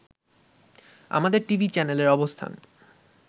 আমাদের টিভি চ্যানেলের অবস্থান